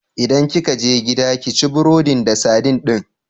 In kika je gida, ki ci burodin da sadin din!